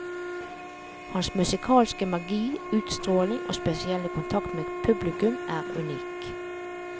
Hans musikalske magi, utstråling og spesielle kontakt med publikum er unik.